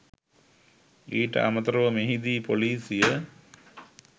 ඊට අමතරව මෙහිදී ‍පොලිසිය